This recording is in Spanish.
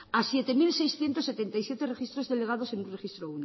a siete mil seiscientos setenta y siete registros elevados en el registro